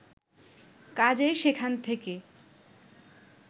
কাজেই সেখান থেকে